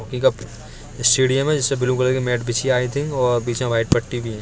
Hockey का stadium है जिसमे ब्लू कलर की मैट बिछी हैं आई थिंक और बिच में वाईट पट्टी भी है।